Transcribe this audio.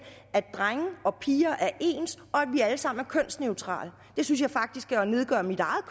at drenge og piger er ens og at vi alle sammen er kønsneutrale det synes jeg faktisk er at nedgøre mit eget